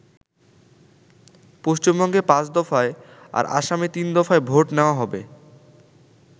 পশ্চিমবঙ্গে পাঁচ দফায় আর আসামে তিনদফায় ভোট নেওয়া হবে।